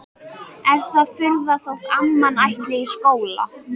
Er það furða þótt amman ætli í skóla?